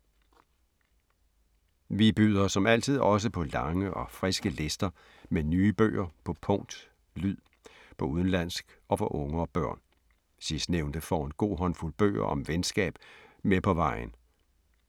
Vi byder, som altid, også på lange og friske lister med nye bøger på punkt, lyd, på udenlandsk og for unge og børn. Sidstnævnte får en god håndfuld bøger om venskab med på vejen.